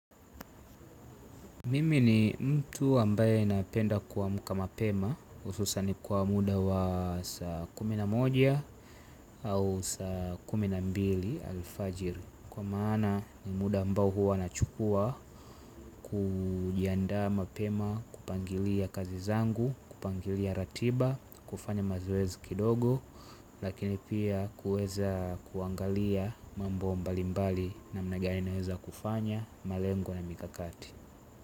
Mimi ni mtu ambaye napenda kuamka mapema hususan kwa muda wa saa kumi na moja au saa kumi na mbili alifajiri. Kwa maana ni muda ambao huwa nachukua kujiandaa mapema kupangilia kazi zangu, kupangilia ratiba, kufanya mazoezi kidogo. Lakini pia kuweza kuangalia mambo mbalimbali namna gani naweza kufanya malengo na mikakati.